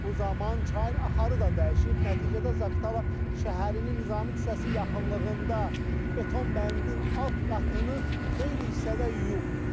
Bu zaman çayın axarı da dəyişib, nəticədə Zaqatala şəhərinin Nizami küçəsi yaxınlığında beton bəndin alt qatını xeyli hissədə yuyub.